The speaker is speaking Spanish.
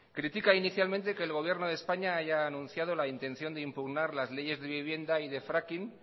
critica inicialmente que el gobierno de españa haya anunciado la intención de impugnar las leyes de vivienda y de fracking